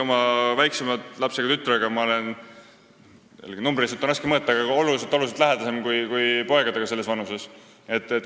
Ma olen oma väiksema lapsega, tütrega – numbriliselt on seda raske mõõta – oluliselt-oluliselt lähedasem kui poegadega selles vanuses.